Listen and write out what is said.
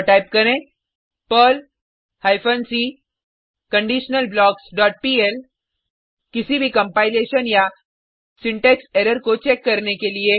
और टाइप करें Perl hyphen C conditional blocks dot PL किसी भी कंपाइलेशन या सिंटेक्स एरर को चेक करने के लिए